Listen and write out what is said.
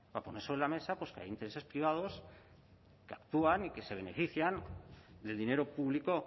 para poner sobre la mesa pues que hay intereses privados que actúan y que se benefician del dinero público